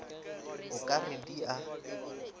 o ka re di a